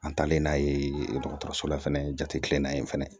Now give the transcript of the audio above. An taalen n'a ye dɔgɔtɔrɔso la fɛnɛ jatemina in fana ye